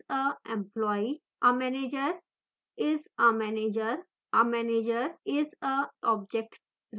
a manager isa employee